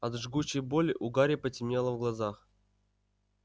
от жгучей боли у гарри потемнело в глазах